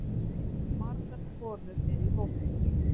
Margar konur eru í hópnum.